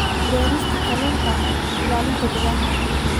Beerista Kalluunka Ilaalinta Deegaanka.